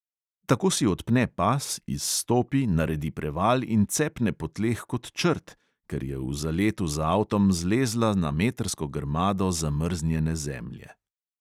Tako si odpne pas, izstopi, naredi preval in cepne po tleh kot črt, ker je v zaletu z avtom zlezla na metrsko grmado zamrznjene zemlje.